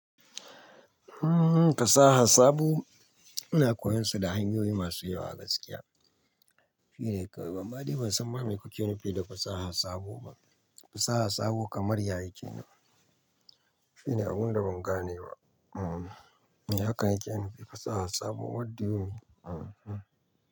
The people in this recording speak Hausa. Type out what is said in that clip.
Hmm fasaha sabo ina koyan su da hanyoyi masu yawa a gaskiya. Shine kai. Banma dai bansan ma me kuke nufi da fasaha sabo ba. Fasaha sabo kamar yaye kenan. Shine abunda ban gane ba. Hmm. Me hakan yake nufi fasaha sabo what do you mean? Hmm-hmm.